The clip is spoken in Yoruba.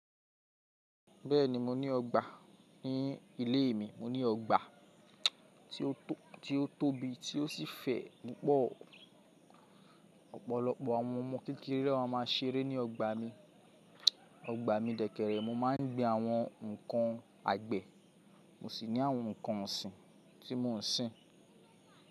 Bẹ́ẹ̀ni mo ní ọgbà ní ilé mi. Mo ní ọgbà tí ó tóbi tí ó sì fẹ̀ púpọ̀. Ọ̀pọ̀lọpọ̀ àwọn ọmọ kékeré lo ma máa ṣeré ní ọgbà mi. Ọgbà mi dẹ̀kẹ̀rẹ̀, mo máa ń gbin àwọn ǹkan àgbẹ̀, mo sì ní àwọn ǹkan ọ̀sìn tí mo ń sìn.